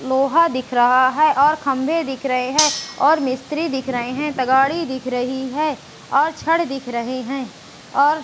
लोहा दिख रहा है और खंभे दिख रहे हैं और मिस्त्री दिख रहे हैं तगाड़ी दिख रही है और छड़ दिख रहे हैं और --